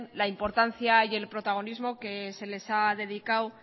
la importancia yel protagonismo que se les ha dedicado